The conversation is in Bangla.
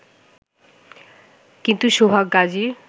কিন্তু সোহাগ গাজীর